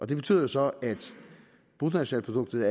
det betyder så at bruttonationalproduktet